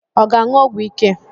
Ọ ga-aṅụ ọgwụ ike?